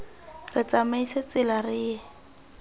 re tsamaise tsela re ye